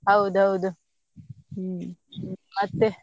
ಹೌದೌದು ಹ್ಮ್ ಮತ್ತೆ?